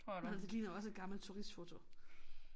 Det ligner også et gammelt turistfoto